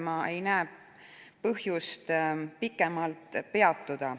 Ma ei näe põhjust sellel pikemalt peatuda.